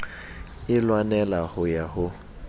e lwanela ho ya ho